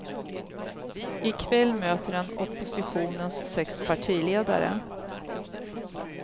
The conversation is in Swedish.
I kväll möter han oppositionens sex partiledare.